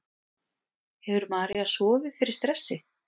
Hefur María sofið fyrir stressi?